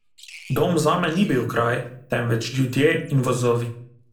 Dom zame ni bil kraj, temveč ljudje in vozovi.